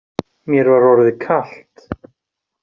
Mér var orðið kalt.